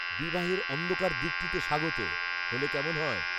"বিবাহের অন্ধকার দিকটিতে স্বাগত" হলে কেমন হয়?